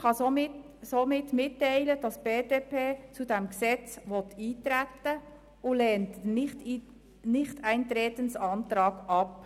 Die BDP will also auf das Gesetz eintreten und lehnt den Antrag auf Nichteintreten ab.